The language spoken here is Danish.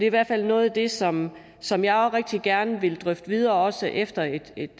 i hvert fald noget af det som som jeg oprigtigt gerne vil drøfte videre også efter et